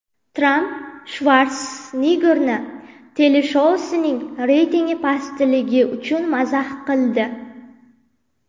Tramp Shvarseneggerni teleshousining reytingi pastligi uchun mazax qildi.